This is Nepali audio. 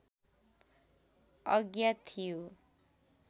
अज्ञात थियो